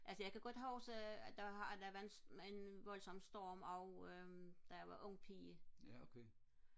altså jeg kan godt huske at der var en voldssom storm og øhm da jeg var ung pige